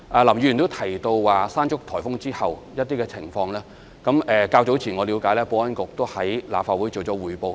林議員也提到颱風"山竹"後的情況，據我了解，保安局較早前已在立法會作出匯報。